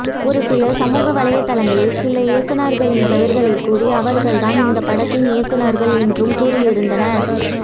ஒரு சிலர் சமூக வலைதளங்களில் சில இயக்குனர்களின் பெயர்களை கூறி அவர்கள் தான் இந்த படத்தின் இயக்குனர்கள் என்றும் கூறியிருந்தனர்